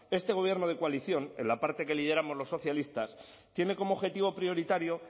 este gobierno de coalición en la parte que lideramos los socialistas tiene como objetivo prioritario